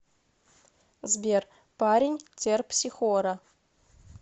сбер парень терпсихора